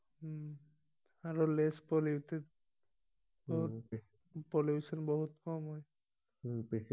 উম আৰু লেচ পলিউটেত পলিউচন বহুত কম হয় উম